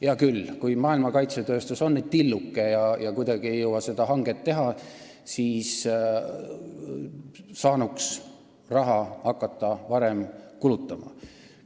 Hea küll, kui maailma kaitsetööstus on nii tilluke ja kuidagi ei jõua seda hanget teha, siis saanuks hakata varem raha kulutama.